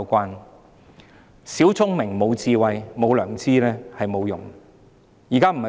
有小聰明但無智慧、無良知，這是沒有用的。